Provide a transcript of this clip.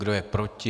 Kdo je proti?